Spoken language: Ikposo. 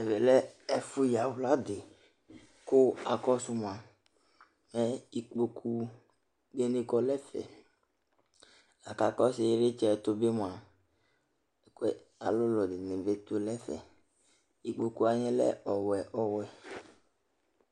Ɛmɛ lɛ ɛfʋ yawla dɩ,kʋ akɔsʋ mʋa, mɛ ikpoku nɩ kɔ nʋ ɛfɛLa kʋ akɔsʋ ɩlɩtsɛ tʋ bɩ mʋa, alʋlʋ dɩnɩ bɩ tʋ nʋ ɛfɛIkpoku wanɩ lɛ ɔwɛ ɔwɛ